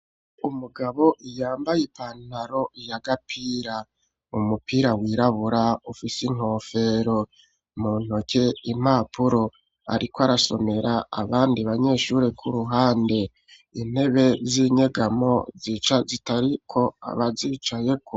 Umugabo iyambaye ipantaro ya gapira umupira wirabura ufise inkofero mu ntoke impapuro, ariko arasomera abandi banyeshure kw'uruhande intebe z'inyegamo zica zitariko abazicayeko.